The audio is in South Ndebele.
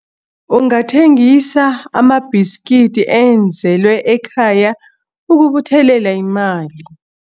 Ungathengisa amabhiskidi enzelwe ekhaya ukubuthelela imali.